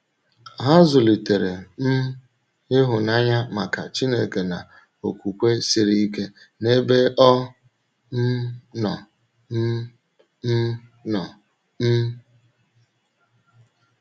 Ha zùlitèrè um ịhụ́nanya maka Chínèké na okwùkwè siri ike n’ebe ọ um nọ. um um nọ. um